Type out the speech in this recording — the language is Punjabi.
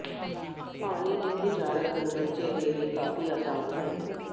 ਪਾਣੀ ਦੀ ਬੁਝਾਰਤ ਨੂੰ ਬੱਚੇ ਦੇ ਲਈ ਕਾਫ਼ੀ ਆਸਾਨ ਹੈ